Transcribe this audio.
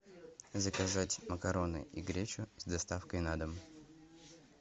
заказать макароны и гречу с доставкой на дом